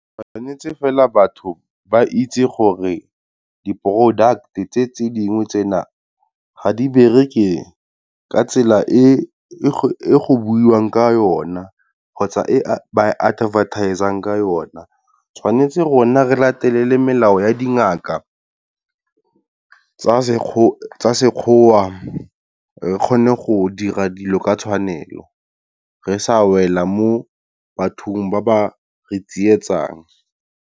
Tshwantse fela batho ba itse gore di-product tse tse dingwe tsena, ga di bereke ka tsela e e go buiwang ka yona kgotsa ka tsela e ba e advertise-ang ka yona. Tshwanetse rona re latele melao ya dingaka tsa sekgowa re kgone go dira dilo ka tshwanelo, re sa wela mo bathong ba ba re tsietsang.